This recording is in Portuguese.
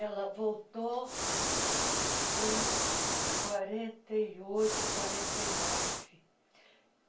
Ela voltou em quarenta e oito, quarenta e nove.